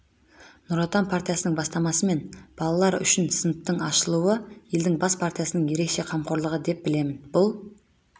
нұр отан партиясының бастамасымен балалар үшін сыныптың ашылуы елдің бас партиясының ерекше қамқорлығы деп білемін бұл